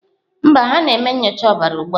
Mba, ha na-eme nyocha ọbara ugbu a.